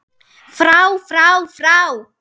FRÁ FRÁ FRÁ